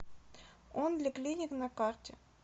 онли клиник на карте